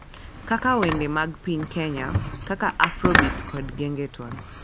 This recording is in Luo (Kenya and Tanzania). Kaka wende wende mag piny Kenya kaka Afrobeat kod Gengetone